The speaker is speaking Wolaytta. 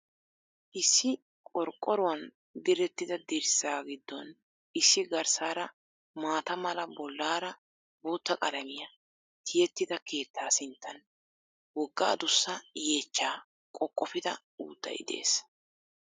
Issi qorqqoruwan direttida dirssaa giddon issi garssaara maata mala bollaara bootta qalamiya tiyettida keettaa sinttan woga addussa yeechchaa qoqofida uuttay de'ees.